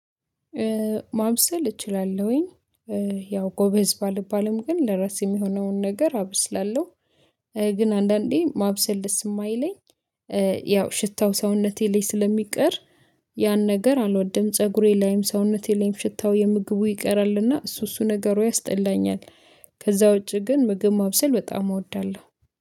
ማብሰል እችላለሁኝ። ያው ጎበዝ ባልባልም ግን ለራሴ የሚሆነውን ነገር አበስላለሁ። ግን አንዳንዴ ማብሰል ደስ የማይለኝ ያው ሽታው ሰውነቴ ላይ ስለሚቀር ያን ነገር አልወደም። ፀጉሬ ላይም ሰውነቴ ላይም ሽታው የምግቡ ይቀራልና እሱ እሱ ነገሩ ያስጠላኛል። ከዛ ውጪ ግን ምግብ ማብሰል በጣም እወዳለሁ